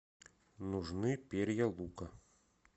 нужны перья лука